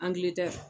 Angilɛtɛ